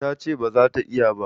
Ta ce ba za ta iya ba.